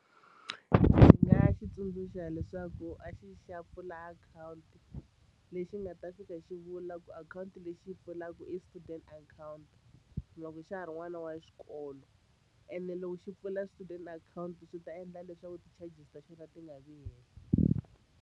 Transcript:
Ndzi nga xi tsundzuxa leswaku a xi yi xi ya pfula akhawunti lexi nga ta fika xi vula ku akhawunti leyi xi yi pfulaka i student account loko xa ha ri n'wana wa xikolo ene loko xi pfula student akhawunti swi ta endla leswaku ti-charges ta xona ti nga vi henhla.